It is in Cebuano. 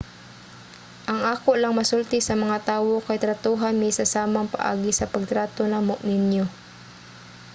ang ako lang masulti sa mga tawo kay tratuha mi sa samang paagi sa pagtrato namo ninyo